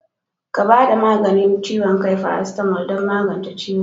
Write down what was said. Ka bada maganin ciwon kai"paracetamo" don magance ciwo.